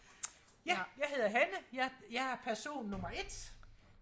ja jeg hedder Hanne jeg jeg er person nummer et